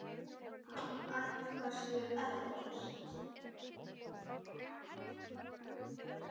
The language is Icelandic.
Hann ætlar sér ekkert.